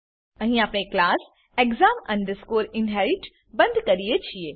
અહીં આપણે class exam inherit બંધ કરીએ છીએ